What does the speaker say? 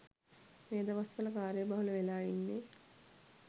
මේ දවස්වල කාර්යබහුල වෙලා ඉන්නේ.